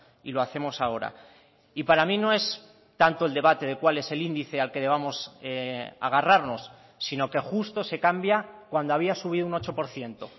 y lo hacemos ahora y para mí no es tanto el debate de cuál es el índice al que debamos agarrarnos sino que justo se cambia cuando había subido un ocho por ciento